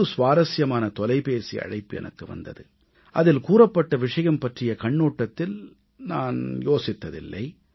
ஒரு சுவாரசியமான தொலைபேசி அழைப்பு எனக்கு வந்தது அதில் கூறப்பட்ட விஷயம் பற்றிய கண்ணோட்டத்தில் நான் யோசித்ததில்லை